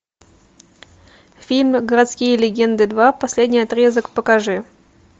фильм городские легенды два последний отрезок покажи